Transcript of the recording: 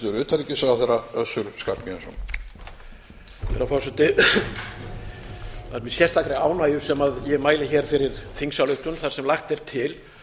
herra forseti það er með sérstakri ánægju sem ég mæli hér fyrir þingsályktun þar sem lagt er til